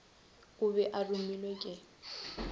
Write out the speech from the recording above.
o be a romilwe ke